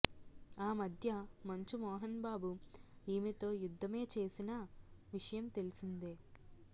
ఆమధ్య మంచు మోహన్ బాబు ఈమెతో యుద్దమే చేసిన విషయం తెలిసిందే